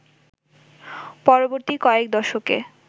পরবর্তী কয়েক দশকে